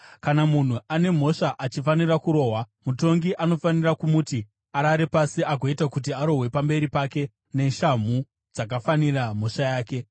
Kana munhu ane mhosva achifanira kurohwa, mutongi anofanira kumuti arare pasi agoita kuti arohwe pamberi pake neshamhu dzakafanira mhosva yake.